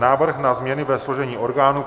Návrh na změny ve složení orgánů